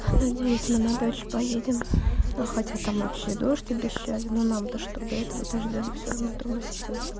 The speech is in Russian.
надеюсь мы на дачу поедем но хотя там вообще дождь обещали но нам-то что до этого дождя мы всё равно дома сидим